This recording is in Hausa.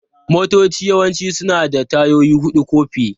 Motoci yawanci suna da tayoyi huɗu ko fiye.